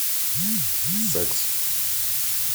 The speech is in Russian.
секс